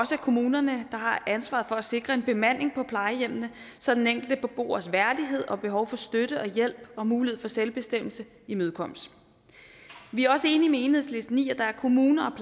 også er kommunerne der har ansvaret for at sikre en bemanding på plejehjemmene så den enkelte beboers værdighed og behov for støtte og hjælp og mulighed for selvbestemmelse imødekommes vi er også enige med enhedslisten i at der er kommuner